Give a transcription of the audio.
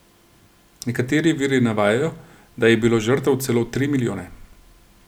Nekateri viri navajajo, da je bilo žrtev celo tri milijone.